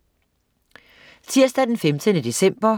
Tirsdag den 15. december